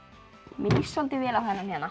mér líst soldið vel á þennan